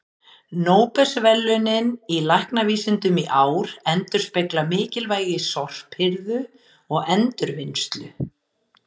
Nóbelsverðlaunin í læknavísindum í ár endurspegla mikilvægi sorphirðu og endurvinnslu.